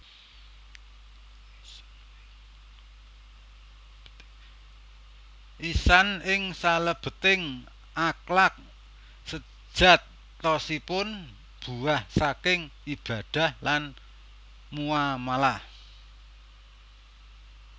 Ihsan ing salèbèting akhlak séjatosipun buah saking ibadah lan muamalah